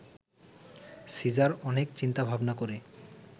caesar অনেক চিন্তা-ভাবনা করে